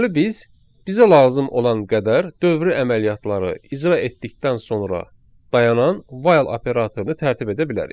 Deməli, biz bizə lazım olan qədər dövrü əməliyyatları icra etdikdən sonra dayanan while operatorunu tərtib edə bilərik.